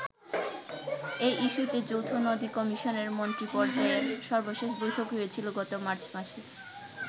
এই ইস্যূতে যৌথ নদী কমিশনের মন্ত্রীপর্যায়ের সর্বশেষ বৈঠক হয়েছিল গত মার্চ মাসে।